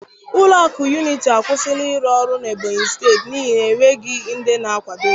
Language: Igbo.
Ụlọ akụ Unity akwụsịla ịrụ ọrụ n'Ebonyi steeti n'ihi enweghị ndị na-akwado ya